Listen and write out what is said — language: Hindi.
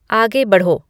आगे बढ़ो